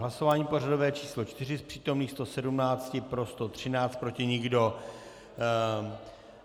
Hlasování pořadové číslo 4, z přítomných 117 pro 113, proti nikdo.